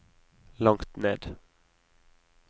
langt ned